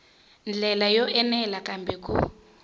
ndlela yo enela kambe ku